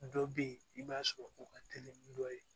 Dɔ bɛ ye i b'a sɔrɔ u ka teli ni dɔ ye